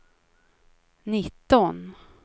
nitton